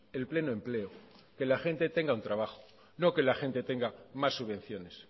el pleno empleo que la gente tenga un trabajo no que la gente tenga más subvenciones